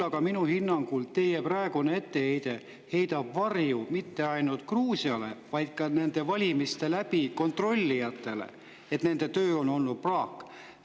Ja minu hinnangul teie praegune etteheide heidab varju mitte ainult Gruusiale, vaid ka nende valimiste kontrollijatele, et nende töö on olnud praak.